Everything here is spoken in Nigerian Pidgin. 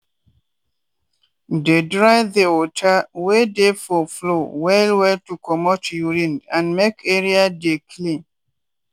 dey dry the water wey dey for floor well well to comot urine and make area dey clean.